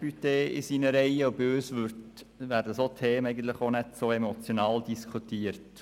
Bei uns werden solche Themen eigentlich auch nicht so emotional diskutiert.